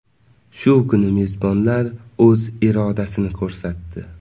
Shu kuni mezbonlar o‘z irodasini ko‘rsatdi.